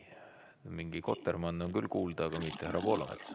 Mingi kotermann on küll kuulda, aga mitte härra Poolamets.